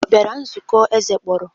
Ọ bịara nzukọ eze kpọrọ?